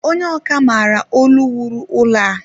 Onye ọkà maara ọlu wuru ụlọ a